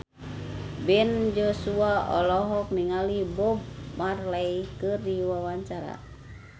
Ben Joshua olohok ningali Bob Marley keur diwawancara